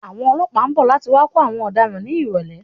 Àwọn ọlọ́pàá ń bọ̀ láti wá kó àwọn ọ̀daràn ní ìrọ̀lẹ́.